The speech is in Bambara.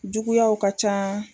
Juguyaw ka ca